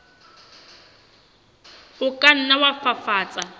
o ka nna wa fafatsa